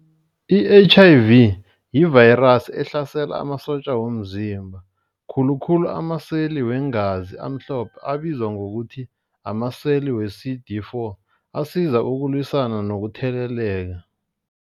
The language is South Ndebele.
I-H_I_V yivayirasi ehlasela amasotja womzimba khulukhulu amaseli weengazi amhlophe abizwa ngokuthi amaseli we-C_D four asiza ukulwisana nokutheleleka.